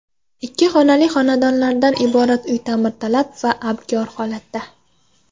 Ikki xonali xonadonlardan iborat uy ta’mirtalab va abgor holatda.